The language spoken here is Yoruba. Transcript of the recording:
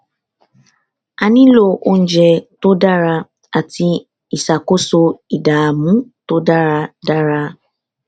a nílò oúnjẹ tó dára àti ìṣàkóso ìdààmú tó dára dára